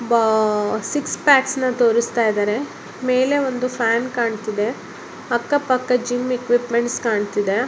ಆ six pack ಅನ್ನ ತೋರಸ್ತಿದರೆ ಮೇಲೆ ಒಂದು ಫ್ಯಾನ್ ಕಾಣುತ್ತಿದೆ ಅಕ್ಕ ಪಕ್ಕ ಜಿಮ್ ಇಕ್ವೀಪಮೆಂಟ್ಸ್ ಕಾಣ್ತಿದೆ.